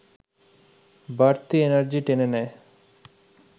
বাড়তি এনার্জি টেনে নেয়